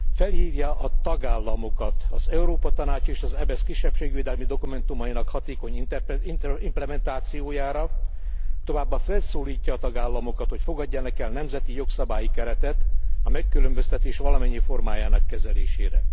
Felhívja a tagállamokat az Európa Tanács és az EBESZ kisebbségvédelmi dokumentumainak hatékony implementációjára, továbbá felszólítja a tagállamokat, hogy fogadjanak el nemzeti jogszabályi keretet a megkülönböztetés valamennyi formájának kezelésére.